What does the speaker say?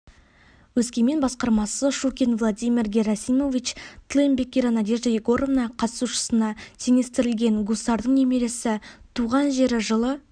өскемен басқармасы щукин владимир герасимович тыл еңбеккері надежда егоровна қатысушысына теңестірілген гусардың немересі туған жері жылы